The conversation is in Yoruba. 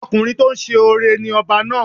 Ọkùnrin tó ń ṣoore ni ọba náà.